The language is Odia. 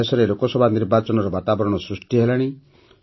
ଦେଶରେ ଲୋକସଭା ନିର୍ବାଚନର ବାତାବରଣ ସୃଷ୍ଟି ହେଲାଣି